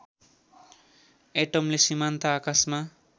एटमले सीमान्त आकाशमा